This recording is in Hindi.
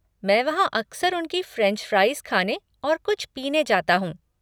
मैं वहाँ अक्सर उनकी फ़्रेंच फ़्राइज़ खाने और कुछ पीने जाता हूँ।